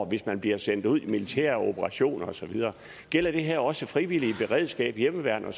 hvis man bliver sendt ud i militære operationer og så videre gælder det her også frivillige beredskaber hjemmeværn